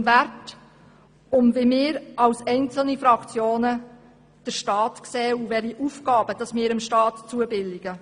Um Werte, und darum, wie wir als Fraktionen die Rolle und die Aufgaben des Staats sehen.